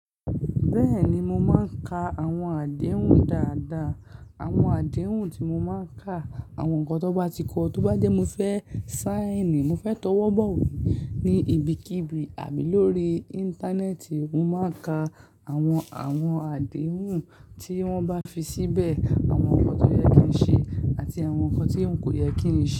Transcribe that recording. Bẹ́ẹ̀ni, mo máa ń ka àwọn àdéhùn dáadáa. Àwọn àdéhùn tí mo máa ń ka, àwọn nǹkan tó bá ti kọ, tó bá jẹ́ mo fẹ́ sáìnì, mo fẹ́ tọwọ́ bọ̀wé ní ibikíbi àbí lórí Íńtánẹ́ẹ̀tì, mo máa ń ka àwọn, àwọn àdéhùn tí wọ́n bá fi síbẹ̀, àwọn nǹkan tó yẹ kí n ṣe àti àwọn nǹkan tí n kò yẹ kí n ṣe.